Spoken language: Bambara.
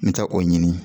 N bɛ taa o ɲini